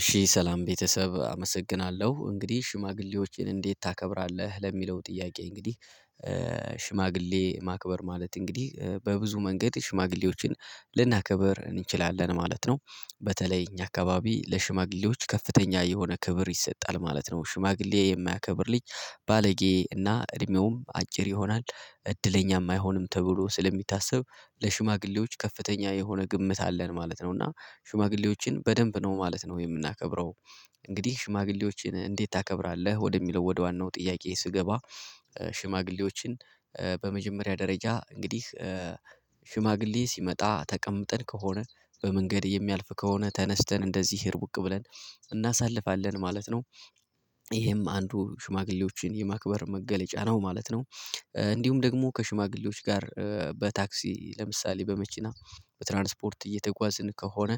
እሺ ሰላም ቤተሰብ አመሰግናለሁ። እንግዲህ ሽማግሌዎችን እንዴት ታከብራለህ? ለሚለው ጥያቄ እንግዲህ ሽማግሌ ማክበር ማለት እንግዲህ በብዙ መንገድ ሽማግሌዎችን ልናከበር እንችላለን ማለት ነው። በተለይ እኛ አካባቢ ለሽማግሌዎች ከፍተኛ የሆነ ክብር ይሰጣል ማለት ነው። ሽማግሌ የማያከብር ልጅ ባለጌ እና እድሜውም አጭር ይሆናል። እድለኛም አይይሆንም ተብሎ ስለሚታሰብ ለሽማግሌዎች ከፍተኛ የሆነ ግምት አለን ማለት ነው። እና ሽማግሌዎችን በደንብ ነው ማለት ነው የምናከብረው። እንግዲህ ሽማግሌዎችን እንዴት ታከብራለህ? ወደሚለው ወደ ዋናው ጥያቄ ስገባ ሽማግሌዎችን በመጀመሪያ ደረጃ እንግዲህ ሽማግሌ ሲመጣ ተቀምጠን ከሆነ በመንገድ የሚያልፍ ከሆነ ተነስተን እንደዚህ ህርቡቅ ብለን እናሳልፋለን ማለት ነው። ይሄም አንዱ ሽማግሌዎችን የማክበር መገለጫ ነው ማለት ነው። እንዲሁም ደግሞ ከሽማግሌዎች ጋር በታክሲ ለምሳሌ በመኪና በትራንስፖርት እየተጓዝን ከሆነ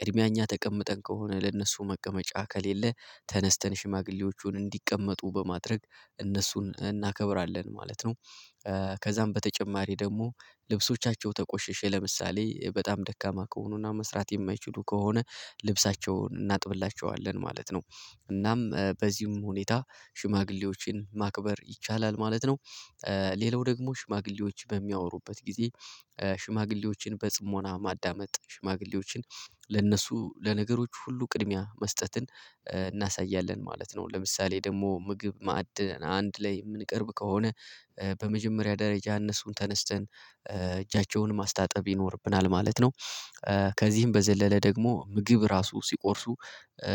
ቅድሚያ እኛ ተቀምጠን ከሆነ ለእነሱ መቀመጫ ከሌለ ተነስተን ሽማግሌዎቹን እንዲቀመጡ በማድረግ እነሱን እናከብራለን ማለት ነው። ከዛም በተጨማሪ ደግሞ ልብሶቻቸው ተቆሸሸ ለምሳሌ በጣም ደካማ ከሆኑና መስራት የማይችሉ ከሆነ ልብሳቸውን እናጥብላቸዋለን ማለት ነው። እናም በዚህም ሁኔታ ሽማግሌዎችን ማክበር ይቻላል ማለት ነው። ሌላው ደግሞ ሽማግሌዎች በሚያወሩበት ጊዜ ሽማግሌዎችን በጽሞና ማዳመጥ ሽማግሌዎችን ለነሱ ለነገሮች ሁሉ ቅድሚያ መስጠትን እናሳያለን ማለት ነው። ለምሳሌ ደግሞ ምግብ ማዕድ አንድ ላይ የምንቀርብ ከሆነ በመጀመሪያ ደረጃ እነሱን ተነስተን እጃቸውን ማስታጠብ ይኖርብናል ማለት ነው። ከዚህም በዘለለ ደግሞ ምግብ ራሱ ሲቆርሱ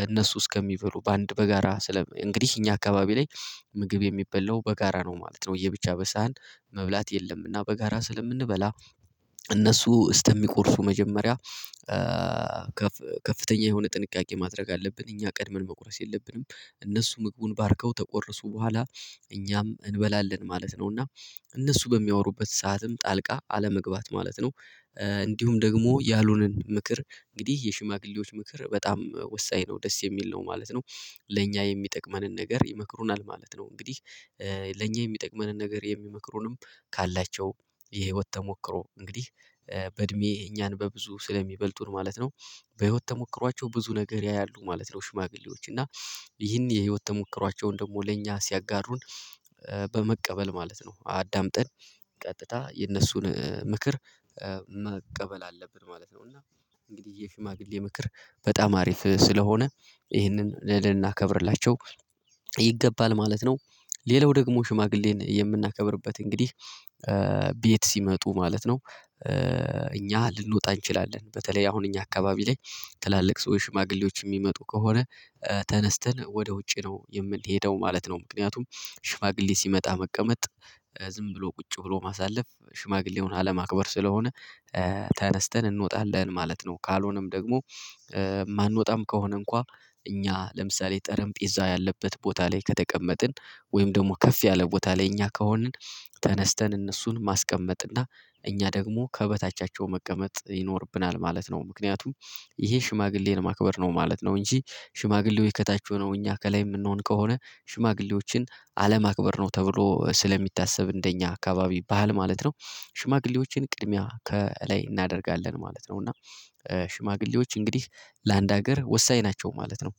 እነሱ እስከሚበሉ በአንድ በጋራ ስለ እንግዲህ እኛ አካባቢ ላይ ምግብ የሚበላው በጋራ ነው ማለት ነው። ለየብቻ በሳህን መብላት የለምና በጋራ ስለምንበላ እነሱ እስተሚቆርሱ መጀመሪያ ከፍተኛ የሆነ ጥንቃቄ ማድረግ አለብን። እኛ ቀድመን መቁረስ የለብንም። እነሱ ምግቡን ባርከው ተቆርሱ በኋላ እኛም እንበላለን ማለት ነው። እና እነሱ በሚያወሩበት ሰዓትም ጣልቃ አለመግባት ማለት ነው። እንዲሁም ደግሞ ያልሆነን ምክር እንግዲህ የሽማግሌዎች ምክር በጣም ወሳኝ ነው ደስ የሚል ነው ማለት ነው። ለእኛ የሚጠቅመንን ነገር ይመክሩናል ማለት ነው። እንግዲህ ለእኛ የሚጠቅመንን ነገር የሚመክሩንም ካላቸው የህይወት ተሞክሮ እንግዲህ በእድሜ እኛን በብዙ ስለሚበልጡን ማለት ነው። በህይወት ተሞክሯቸው ብዙ ነገር ያያሉ ማለት ነው ሽማግሌዎች። እና ይህን የህይወት ተሞክሯቸውን ደግሞ ለእኛ ሲያጋሩን በመቀበል ማለት ነው። አዳምጠን ቀጥታ የነሱን ምክር መቀበል አለብን ማለት ነው። እና እንግዲህ የሽማግሌ ምክር በጣም አሪፍ ስለሆነ ይህንን ልናከብርላቸው ይገባል ማለት ነው። ሌላው ደግሞ ሽማግሌን የምናከብርበት እንግዲህ ቤት ሲመጡ ማለት ነው። እኛ ልንወጣ እንችላለን። በተለይ አሁን እኛ አካባቢ ላይ ትላልቅ ሰው ሽማግሌዎች የሚመጡ ከሆነ ተነስተን ወደ ውጪ ነው የምንሄደው ማለት ነው። ምክንያቱም ሽማግሌ ሲመጣ መቀመጥ ዝም ብሎ ቁጭ ብሎ ማሳለፍ ሽማግሌውን አለማክበር ስለሆነ ተነስተን እንወጣለን ማለት ነው። ካልሆነም ደግሞ ማንወጣም ከሆነ እንኳን እኛ ለምሳሌ ጠረጴዛም ያለበት ቦታ ላይ ከተቀመጥን ወይም ደግሞ ከፍ ያለ ቦታ ላይ እኛ ከሆንን ተነስተን እነሱን ማስቀመጥ እና እኛ ደግሞ ከበታቻቸው መቀመጥ ይኖርብናል ማለት ነው። ምክንያቱም ይሄ ሽማግሌን ማክበር ነው ማለት ነው እንጂ ሽማግሌዎች ከታች ሆነው እኛ ከላይ የምንሆን ከሆነ ሽማግሌዎችን አለማክበር ነው ተብሎ ስለሚታሰብ እንደኛ አካባቢ ባህል ማለት ነው ሽማግሌዎችን ቅድሚያ ከላይ እናደርጋለን ማለት ነው። እና ሽማግሌዎች እንግዲህ ለአንድ ሀገር ወሳኝ ናቸው ማለት ነው።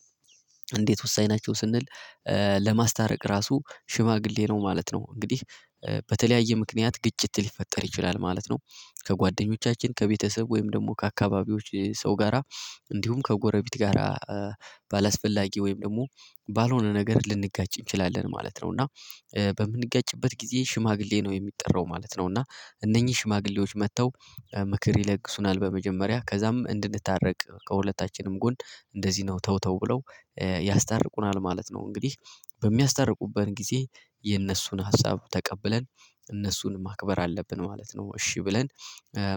እንዴት ወሳኝ ናቸው ስንል ለማስታረቅ ራሱ ሽማግሌ ነው ማለት ነው። እንግዲህ በተለያየ ምክንያት ግጭት ሊፈጠር ይችላል ማለት ነው። ከጓደኞቻችን፣ ከቤተሰብ ወይም ደግሞ ከአካባቢዎች ሰው ጋራ እንዲሁም ከጎረቤት ጋራ ባላስፈላጊ ወይም ደግሞ ባልሆነ ነገር ልንጋጭ እንችላለን ማለት ነው። እና በምንጋጭበት ጊዜ ሽማግሌ ነው የሚጠራው ማለት ነው። እና እነኚህ ሽማግሌዎች መጥተው ምክር ይለግሱናል በመጀመሪያ ከዛም እንድንታረቅ ከሁለታችንም ጎን እንደዚህ ነው ተው ተው ብለው ያስታርቁናል ማለት ነው። እንግዲህ በሚያስታርቁበት ጊዜ የእነሱን ሀሳብ ተቀብለን እነሱን ማክበር አለብን ማለት ነው። እሺ ብለን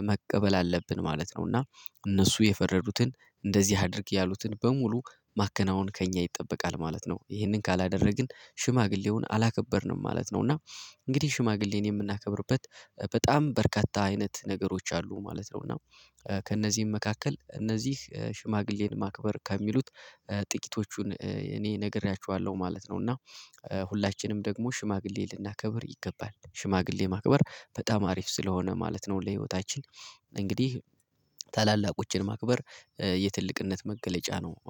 መቀበል አለብን ማለት ነው። እና እነሱ የፈረዱትን እንደዚህ አድርግ ያሉትን በሙሉ ማከናወን ከእኛ ይጠበቃል ማለት ነው። ይህንን ካላደረግን ሽማግሌውን አላከበርንም ማለት ነው። እና እንግዲህ ሽማግሌን የምናከብርበት በጣም በርካታ አይነት ነገሮች አሉ ማለት ነው። እና ከእነዚህም መካከል እነዚህ ሽማግሌን ማክበር ከሚሉት ጥቂቶቹን እኔ ነግሬያችኋለሁ ማለት ነው። እና ሁላችንም ደግሞ ሽማግሌ ልናከብር ይገባል። ሽማግሌ ማክበር በጣም አሪፍ ስለሆነ ማለት ነው። ለህይወታችን እንግዲህ ታላላቆችን ማክበር የትልቅነት መገለጫ ነው።